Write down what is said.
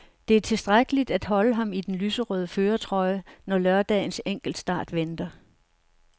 Det er tilstrækkeligt til at holde ham i den lyserøde førertrøje, når lørdagens enkeltstart venter.